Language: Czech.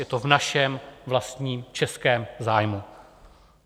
Je to v našem vlastním českém zájmu.